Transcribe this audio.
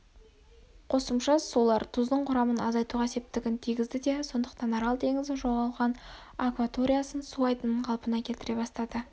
қосымша сулар тұздың құрамын азайтуға септігін тигізді де сондықтан арал теңізі жоғалған акваториясын су айдынын қалпына келтіре бастады